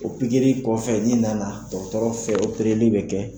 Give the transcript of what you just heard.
O pikiri kɔfɛ ni nana dɔgɔtɔrɔ fɛ opereli bɛ kɛ.